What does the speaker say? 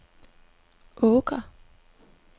Åker